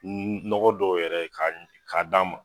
nɔgɔ dɔw yɛrɛ ka d'a ma.